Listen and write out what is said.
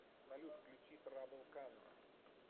салют включи трабл кано